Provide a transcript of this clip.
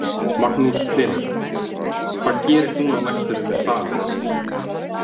Magnús Hlynur: Hvað gerist núna á næstunni með salinn?